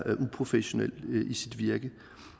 uprofessionel i sit virke